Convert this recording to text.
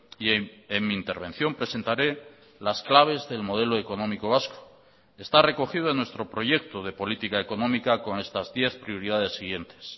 y en mi intervención presentaré las claves del modelo económico vasco está recogido en nuestro proyecto de política económica con estas diez prioridades siguientes